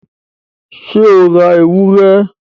ṣé o ra ewúrẹ?